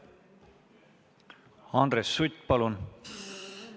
Andres Sutt, palun!